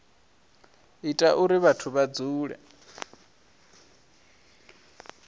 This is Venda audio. ita uri vhathu vha dzule